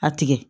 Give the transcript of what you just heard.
A tigɛ